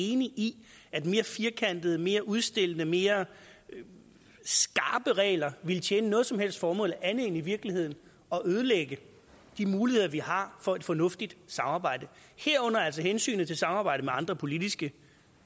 enig i at mere firkantede mere udstillende mere skarpe regler ville tjene noget som helst formål andet end i virkeligheden at ødelægge de muligheder vi har for et fornuftigt samarbejde herunder altså hensynet til samarbejdet med andre politiske